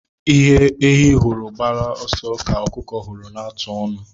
Ihe ehi hụrụ gbaa ọsọ ka ọkụkọ hụrụ na-atụ ọnụ.